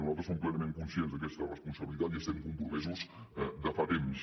nosaltres som plenament conscients d’aquesta responsabilitat i hi estem compromesos de fa temps